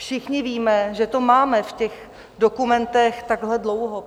Všichni víme, že to máme v těch dokumentech takhle dlouho.